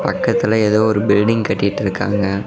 பக்கத்துல ஏதோ ஒரு பில்டிங் கட்டிட்டிருக்காங்க.